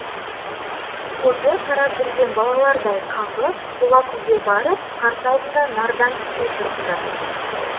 қозы қарап жүрген балалардай қаңғып хулакуге барып қарсы алдында нардан түспей тұрыпты